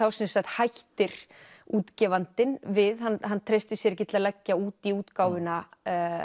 hættir útgefandinn við hann hann treystir sér ekki til að leggja út í útgáfuna